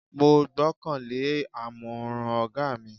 Mo gbọ́kan lé àmọ̀ràn ọ̀gá mi.